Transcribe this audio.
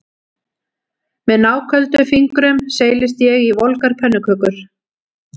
Með náköldum fingrum seilist ég í volgar pönnukökur